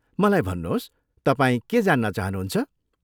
मलाई भन्नुहोस्, तपाईँ के जान्न चाहनुहुन्छ?